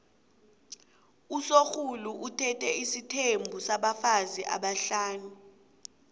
usorhulu uthethe isithembu sabafazi abahlanu